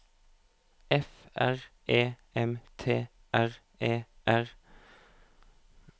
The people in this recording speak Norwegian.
F R E M T R E R